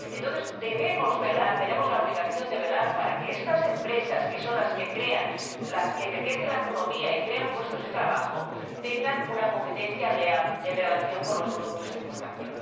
Entonces, tenemos la obligación de velar por que estas empresas, que son las que enriquecen la economía y crean puestos de trabajo, tengan una competencia leal en relación con los productos de importación.